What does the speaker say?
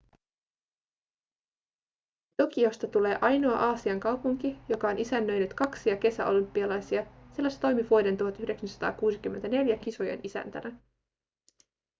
tokiosta tulee ainoa aasian kaupunki joka on isännöinyt kaksia kesäolympialaisia sillä se toimi vuoden 1964 kisojen isäntänä